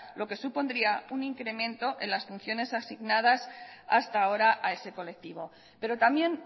lo que supondría un incremento en las funciones asignadas hasta ahora a ese colectivo pero también